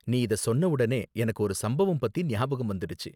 நீ இத சொன்னவுடனே எனக்கு ஒரு சம்பவம் பத்தி ஞாபகம் வந்திடுச்சு.